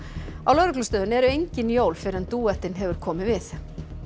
á lögreglustöðinni eru engin jól fyrr en dúettinn hefur komið við